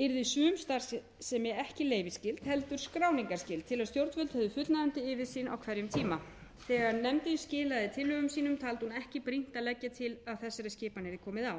yrði sum starfsemi ekki leyfisskyld heldur skráningarskyld til að stjórnvöld hefðu fullnægjandi yfirsýn á hverjum tíma þegar nefndin skilaði tillögum sínum taldi hún ekki brýnt að leggja til að þessari skipan yrði komið á